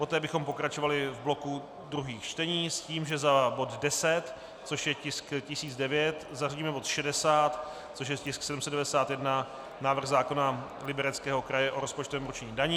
Poté bychom pokračovali v bloku druhých čtení s tím, že za bod 10, což je tisk 1009, zařadíme bod 60, což je tisk 791, návrh zákona Libereckého kraje o rozpočtovém určení daní.